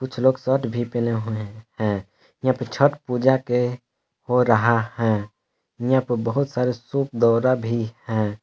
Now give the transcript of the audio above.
कुछ लोग शर्ट भी पहने हुए हैं यहां पर छठ पूजा के हो रहा है इहां प बहुत सारे सुप दौरा भी हैं।